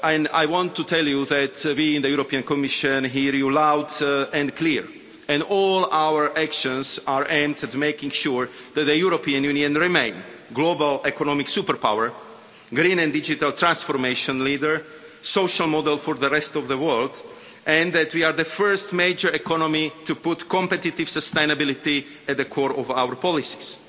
I want to tell you that we in the Commission hear you loud and clear, and all our actions are aimed at making sure that the European Union remains a global economic superpower, a green and digital transformation leader and a social model for the rest of the world, and that we are the first major economy to put competitive sustainability at the core of our policies.